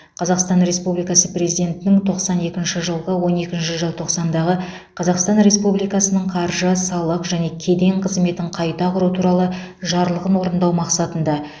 қазақстан республикасы президентінің тоқсан екінші жылғы он екінші желтоқсандағы қазақстан республикасының қаржы салық және кеден қызметін қайта құру туралы жарлығын орындау мақсатында